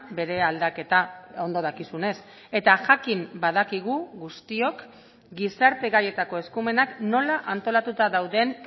bere aldaketa ondo dakizunez eta jakin badakigu guztiok gizarte gaietako eskumenak nola antolatuta dauden